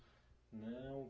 Não?